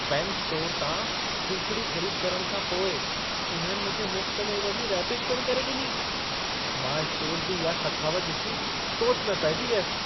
Pen store तां सूखिड़ी ख़रीद करण खां पोइ उन्हनि मूंखे मुफ़्त में इन जी रैपिंग पिण करे ॾिनी। मां स्टोर जी इहा सखावत ॾिसी सोच में पइजी वियसि।